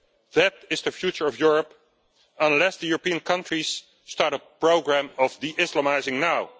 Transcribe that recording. That is the future of Europe, unless European countries start a programme of de Islamising now.